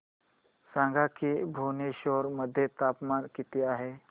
सांगा की भुवनेश्वर मध्ये तापमान किती आहे